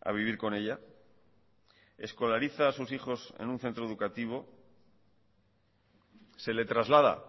a vivir con ella escolariza a sus hijos en un centro educativo se le traslada